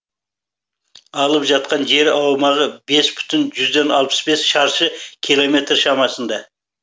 алып жатқан жер аумағы бес бүтін жүзден алпыс бес шаршы километр шамасында